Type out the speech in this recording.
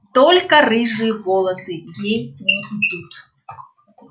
только рыжие волосы ей не идут